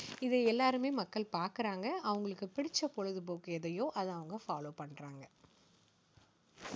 இதை எல்லாருமே மக்கள் பாக்குறாங்க. அவங்களுக்கு பிடிச்ச பொழுது போக்கு எதையோ, அதை அவங்க follow பண்றாங்க.